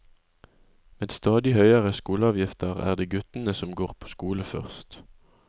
Med stadig høyere skoleavgifter er det guttene som går på skole først.